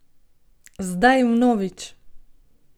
Zdaj vnovič!